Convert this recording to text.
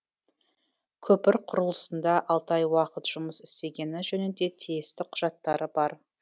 көпір құрылысында алты ай уақыт жұмыс істегені жөнінде тиісті құжаттары бар